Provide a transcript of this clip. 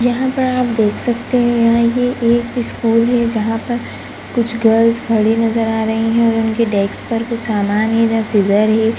यहाँ पर आप देख सकते हैं यहाँ ये एक स्कूल है जहाँ पर कुछ गर्ल्स खड़ी नजर आ रही हैं और उनके डेस्क पर कुछ सामान है इधर सीज़र है।